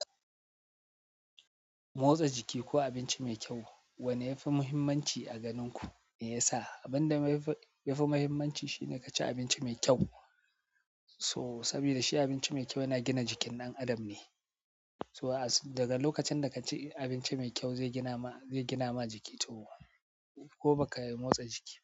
Motsa jiki ko abinci mai kyau, wanne yafi muhimmanci a ganin ku? Me yasa? Abin da yafi muhimmanci shine kaci abinci mai kyau, so sabida shi abinci mai kyau yana gina jikin ɗan adam ne. So daga lokacin da ka ci abinci mai kyau, zai gina ma, zai gina ma jiki to, ko baka motsa jiki ba.